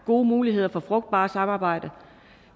gode muligheder for frugtbart samarbejde